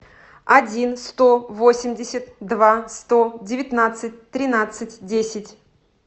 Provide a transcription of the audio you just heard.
один сто восемьдесят два сто девятнадцать тринадцать десять